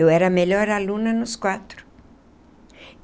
Eu era a melhor aluna nos quatro.